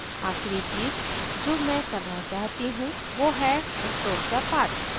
आखिरी चीज़ जो मैं करना चाहती हूँ वो है stroke the path